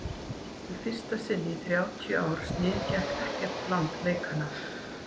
í fyrsta sinn í þrjátíu ár sniðgekk ekkert land leikana